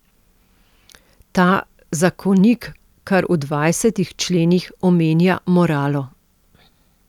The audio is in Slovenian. Ta zakonik kar v dvajsetih členih omenja moralo.